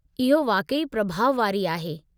इहो वाक़ई प्रभाउ वारी आहे।